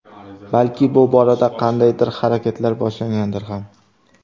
Balki bu borada qandaydir harakatlar boshlangandir ham.